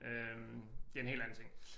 Øh det en helt anden ting